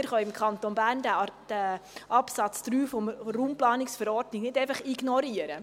Wir können diesen Absatz 3 RPV im Kanton Bern nicht einfach ignorieren.